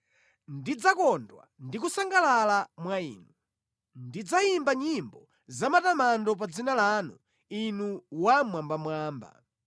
Ndidzakondwa ndi kusangalala mwa inu; Ndidzayimba nyimbo zamatamando pa dzina lanu, Inu Wammwambamwamba.